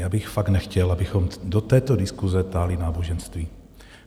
Já bych fakt nechtěl, abychom do této diskuse táhli náboženství.